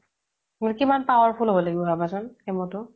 কিমান powerful হ্'ব লাগিব ভাবাচোন chemo তো